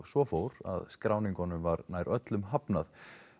svo fór að skráningunum var nær öllum hafnað